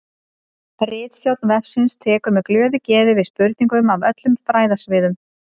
Ritstjórn vefsins tekur með glöðu geði við spurningum af öllum fræðasviðum.